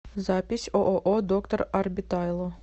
запись ооо доктор арбитайло